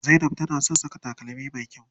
Zainab tana son saka takalmi me kyau.